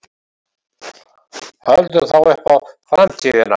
Höldum þá upp á FRAMTÍÐINA.